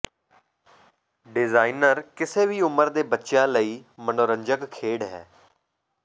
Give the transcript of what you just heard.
designer ਕਿਸੇ ਵੀ ਉਮਰ ਦੇ ਬੱਚਿਆਂ ਲਈ ਮਨੋਰੰਜਕ ਖੇਡ ਹੈ